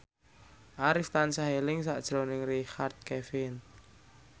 Arif tansah eling sakjroning Richard Kevin